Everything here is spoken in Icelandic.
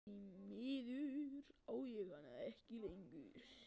Því miður á ég hana ekki lengur.